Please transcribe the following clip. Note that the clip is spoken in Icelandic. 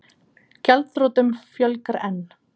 Gjaldþrotum fjölgar enn